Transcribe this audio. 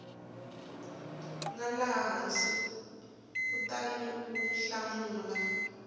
nga laha hansi kutaniu hlamula